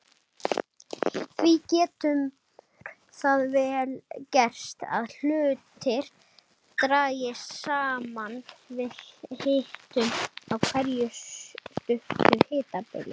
Því getur það vel gerst að hlutir dragist saman við hitun á einhverju stuttu hitabili.